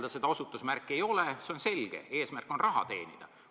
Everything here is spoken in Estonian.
Kui seda osutusmärki ei ole, siis on selge: eesmärk on raha teenida.